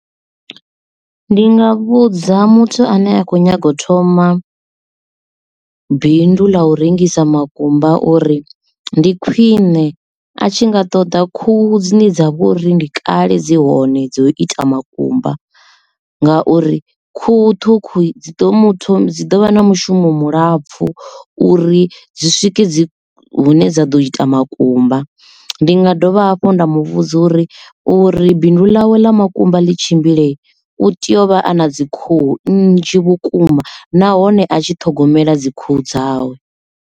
Ndi nga vhudza muthu ane a kho nyaga u thoma bindu ḽa u rengisa makumba uri ndi khwine a tshi nga ṱoḓa khuhu dzine dza vho uri ndi kale dzi hone dzo ita makumba ngauri khuhu ṱhukhu dzi ḓo muthu dzi ḓo vha na mushumo mulapfu uri dzi swike dzi hune dza ḓo ita makumba ndi nga dovha hafhu nda muvhudza uri uri binduḽawe ḽa makumba ḽi tshimbilei u tea u vha a na dzi khuhu nnzhi vhukuma nahone a tshi ṱhogomela dzikhuhu dzawe.